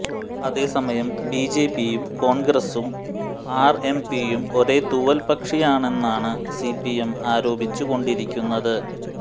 അതേസമയം ബിജെപിയും കോൺഗ്രസും ആർഎംപിയും ഓരേ തൂവൽ പക്ഷിയാണെന്നാണ് സിപിഎം ആരോപിച്ചു കൊണ്ടിരിക്കുന്നത്